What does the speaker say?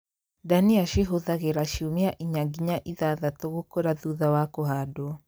Ndania cihũthagĩra ciumia inya nginya ithathatũ gũkũra thutha wa kũhandwo